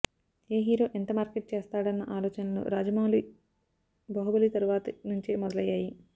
ఏ hero ఎంత market చేస్తాడన్న ఆలోచనలు రాజవౌళి బాహుబలి తరువాతి నుంచే మొదలయ్యాయి